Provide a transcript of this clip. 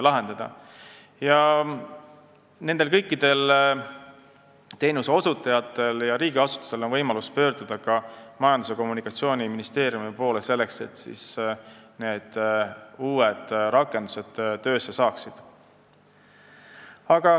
Kõikidel nendel teenuseosutajatel ja riigiasutustel on võimalus pöörduda ka Majandus- ja Kommunikatsiooniministeeriumi poole, et uued rakendused saaksid töösse.